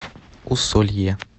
усолье